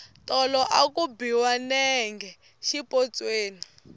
tolo a ku biwa nenge xipotsweni